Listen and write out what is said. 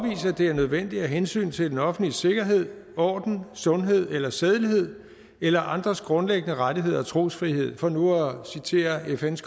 det er nødvendigt af hensyn til den offentlige sikkerhed orden sundhed eller sædelighed eller andres grundlæggende rettigheder og trosfrihed for nu at citere fns